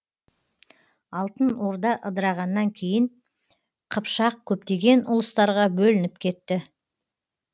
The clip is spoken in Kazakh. алтын орда ыдырағаннан кейін қыпшақ көптеген ұлыстарға бөлініп кетті